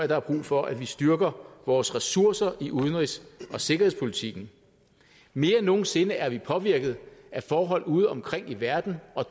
der er brug for at vi styrker vores ressourcer i udenrigs og sikkerhedspolitikken mere end nogen sinde er vi påvirket af forhold udeomkring i verden